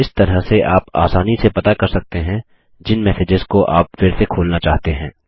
इस तरह से आप आसानी से पता कर सकते हैं जिन मैसेजेस को आप फिर से खोलना चाहते हैं